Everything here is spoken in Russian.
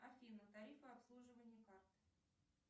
афина тарифы обслуживания карт